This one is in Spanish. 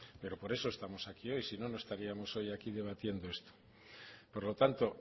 pero por eso estamos aquí hoy si no no estaríamos hoy aquí debatiendo esto por lo tanto